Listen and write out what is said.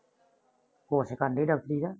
course ਕਰਨਡੀ ਡਾਕਟਰੀ ਦਾ